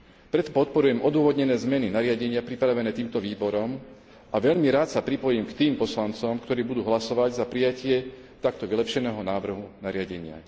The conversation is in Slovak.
Preto podporujem odôvodnené zmeny nariadenia pripravené týmto výborom a veľmi rád sa pripojím k tým poslancom, ktorí budú hlasovať za prijatie takto vylepšeného návrhu nariadenia.